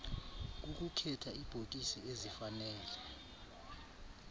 kukukhetha iibhokisi ezifanele